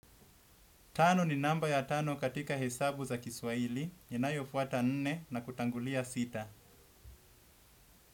Tano ni namba ya tano katika hesabu za kiswahili inayofuata nne na kutangulia sita.